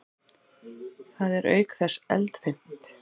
Það er auk þess eldfimt.